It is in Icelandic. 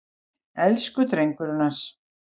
Elsku drengurinn hans!